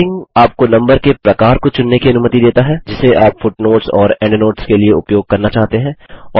numbering आपको number के प्रकार को चुनने की अनुमति देता है जिसे आप फुटनोट्स और एंडनोट्स के लिए उपयोग करना चाहते हैं